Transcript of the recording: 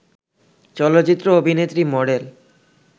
চলচ্চিত্র অভিনেত্রী, মডেল